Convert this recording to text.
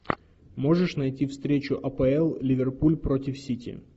можешь найти встречу апл ливерпуль против сити